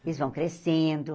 Eles vão crescendo.